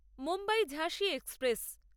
মুম্বাই ঝাঁসি এক্সপ্রেস